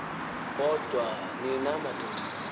kodwa nina madoda